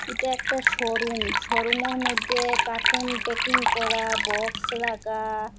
এটা একটা শোরুম শোরুমের মইধ্যে কাটুন প্যাকিং করা বক্স রাকা ।